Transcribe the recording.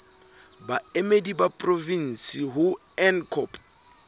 baemedi ba porofensi ho ncop